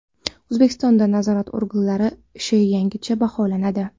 O‘zbekistonda nazorat organlari ishi yangicha baholanadi.